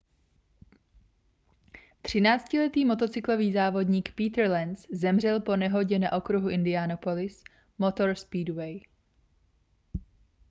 třináctiletý motocyklový závodník peter lenz zemřel po nehodě na okruhu indianapolis motor speedway